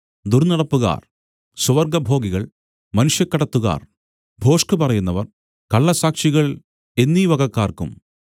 ദുർന്നടപ്പുകാർ സ്വവർഗഭോഗികൾ മനുഷ്യക്കടത്തുകാർ ഭോഷ്കുപറയുന്നവർ കള്ളസാക്ഷികൾ എന്നീ വകക്കാർക്കും